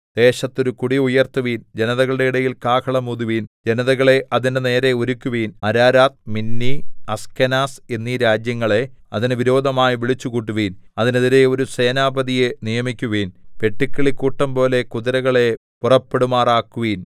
ദേശത്ത് ഒരു കൊടി ഉയർത്തുവിൻ ജനതകളുടെ ഇടയിൽ കാഹളം ഊതുവിൻ ജനതകളെ അതിന്റെ നേരെ ഒരുക്കുവിൻ അരാരാത്ത് മിന്നി അസ്കെനാസ് എന്നീ രാജ്യങ്ങളെ അതിന് വിരോധമായി വിളിച്ചുകൂട്ടുവിൻ അതിനെതിരെ ഒരു സേനാപതിയെ നിയമിക്കുവിൻ വെട്ടുക്കിളിക്കൂട്ടംപോലെ കുതിരകളെ പുറപ്പെടുമാറാക്കുവിൻ